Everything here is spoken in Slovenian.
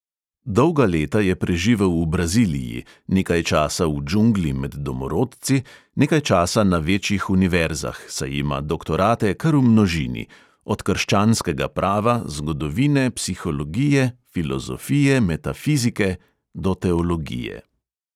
Dolga leta je preživel v braziliji; nekaj časa v džungli med domorodci, nekaj časa na večjih univerzah, saj ima doktorate kar v množini – od krščanskega prava, zgodovine, psihologije, filozofije, metafizike do teologije.